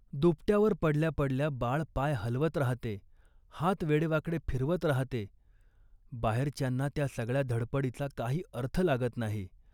दुपट्यावर पडल्या पडल्या बाळ पाय हलवत राहते, हात वेडेवाकडे फिरवत राहते. बाहेरच्यांना त्या सगळ्या धडपडीचा काही अर्थ लागत नाही